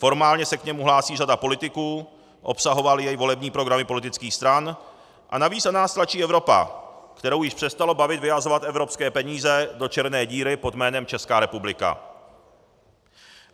Formálně se k němu hlásí řada politiků, obsahovaly jej volební programy politických stran a navíc na nás tlačí Evropa, kterou již přestalo bavit vyhazovat evropské peníze do černé díry pod jménem Česká republika.